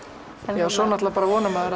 já og svo náttúrulega vona maður